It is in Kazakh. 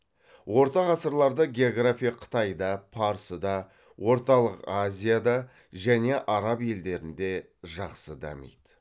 орта ғасырларда география қытайда парсыда орталық азияда және араб елдерінде жақсы дамиды